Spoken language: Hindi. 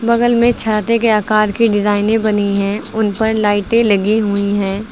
बगल में छाते के आकार की डिजाइनें बनी हैं उन पर लाइटें लगी हुई हैं।